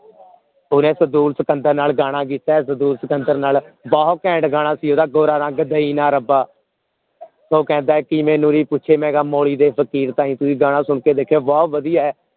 ਓਹਨੇ ਸਟੂਲ ਸਿਕੰਦਰ ਨਾਲ ਗਾਣਾ ਕੀਤਾ ਹੈ ਸਟੂਲ ਸਿਕੰਦਰ ਨਾਲ ਬਹੁਤ ਘੈਂਟ ਗਾਣਾ ਸੀ ਓਹਦਾ ਗੋਰਾ ਰੰਗ ਦਯਿ ਨਾ ਰੱਬ ਉਹ ਕਹਿੰਦਾ ਹੈ ਕਿ ਮੈਨੂੰ ਨੀ ਪੁੱਛੇ ਮਈ ਗਾ ਮੌਲੀ ਦੇ ਫ਼ਕੀਰ ਤਾਈ ਤੁਸੀਂ ਗਾਣਾ ਸੁਨ ਕੇ ਦੇਖਿਓ ਬਹੁਤ ਵਧੀਆ ਹੈ